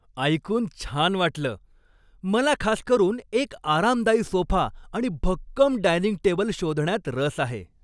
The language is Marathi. ऐकून छान वाटलं! मला खास करून एक आरामदायी सोफा आणि भक्कम डायनिंग टेबल शोधण्यात रस आहे.